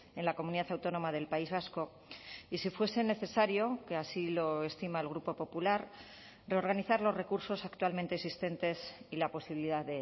en la comunidad autónoma del país vasco y si fuese necesario que así lo estima el grupo popular reorganizar los recursos actualmente existentes y la posibilidad